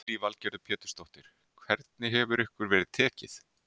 Lillý Valgerður Pétursdóttir: Hvernig hefur ykkur verið tekið?